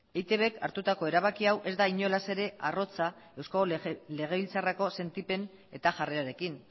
eitbk hartutako erabaki hau ez da inolaz ere arrotza eusko legebiltzarreko sentipen eta jarrerarekin